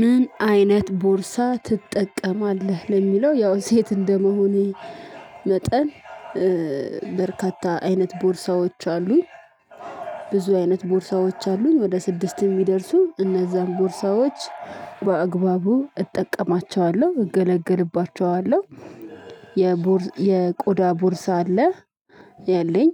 ምን? አይነት ቦርሳ ትጠቀማለህ ለሚለው ያው ሴት እንደመሆኔ መጠን በርካታ አይነት ቦርሳዎች አሉኝ ብዙ አይነት ቦርሳዎች አሉኝ ወደ ስድስት ሚደርሱ እነዛን ቦርሳዎች በአግባቡ እጠቀማቸዋለሁ እገለግልባቸዋለሁ። የቆዳ ቦርሳ አለ ያለኝ